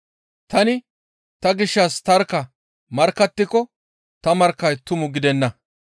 Tani ta gishshas tarkka markkattiko ta markkay tumu gidenna.